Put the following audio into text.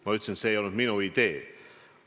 Ma ütlesin, et see ei olnud minu idee.